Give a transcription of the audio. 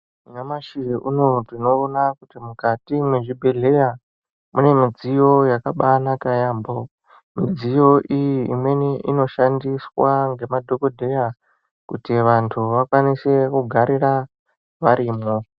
Nyamashi unowu tinoona kuti mukati mezvibhedhlera mune midziyo yakanaka yambo midziyo iyi imweni inoshandiswa nemadhokodheya kuti vantu vakwanise kugarira variyo.